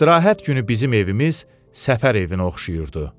İstirahət günü bizim evimiz səfər evinə oxşayırdı.